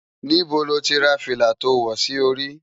Nibó ló ti rá filá tó wò si óri?